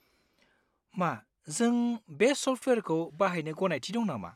मा जों बे सफ्टवेयारखौ बाहायनो गनायथि दं नामा?